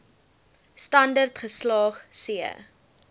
standerd geslaag c